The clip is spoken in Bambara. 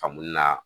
Famori na